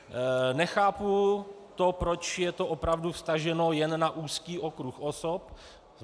Nechápu to, proč je to opravdu vztaženo jen na úzký okruh osob.